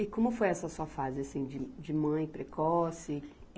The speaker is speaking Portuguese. E como foi essa sua fase, assim, de, de mãe, precoce?